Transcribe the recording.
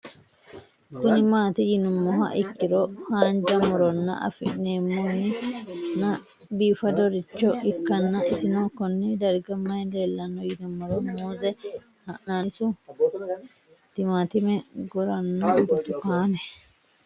Kuni mati yinumoha ikiro hanja murowa afine'mona bifadoricho ikana isino Kone darga mayi leelanno yinumaro muuze hanannisu timantime gooranna buurtukaane